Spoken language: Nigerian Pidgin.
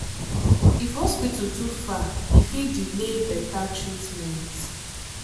if hospital too far e fit delay better treatment.